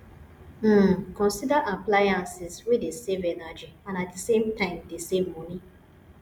um consider appliances wey dey save energy and at di same time dey save money